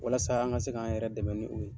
Walasa an ka se k'a yɛrɛ dɛmɛ ni o ye.